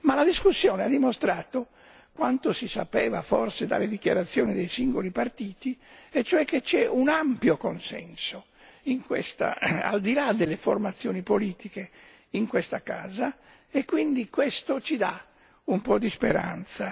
La discussione ha dimostrato quanto si sapeva forse dalle dichiarazioni dei singoli partiti, e cioè che vi è un ampio consenso in questa casa, al di là delle formazioni politiche, e quindi questo ci dà un po' di speranza.